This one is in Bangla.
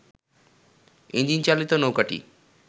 ইঞ্জিনচালিত নৌকাটি